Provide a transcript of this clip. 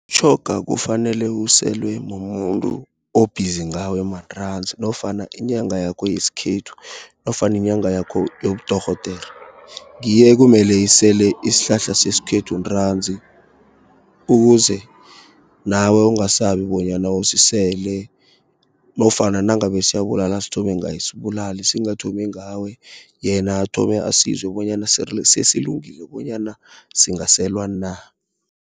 Mtjhoga kufanele uselwe mumuntu o-busy ngawematanzi nofana inyanga yakho yesikhethu, nofana inyanga yakho yobudorhodere. Ngiyo ekumele isele isihlahla seskhethu ntanzi, ukuze nawe ungasabi bonyana usisele. Nofana nangabe siyabulala sithome ngaye sibulale, singathomi ngawe. Yena athome asizwe bonyana silungile bonyana singaselwa na.